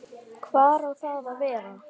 Hvar á það að vera?